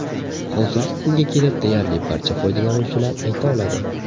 Hozirgi kunga kelib deyarli barcha foydalanuvchilar ayta oladi.